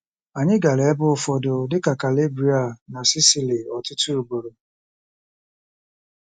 Anyị gara ebe ụfọdụ dị ka Calabria na Sicily ọtụtụ ugboro.